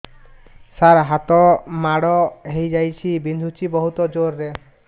ସାର ହାତ ମାଡ଼ ହେଇଯାଇଛି ବିନ୍ଧୁଛି ବହୁତ ଜୋରରେ